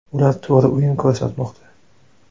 Ular to‘g‘ri o‘yin ko‘rsatmoqda.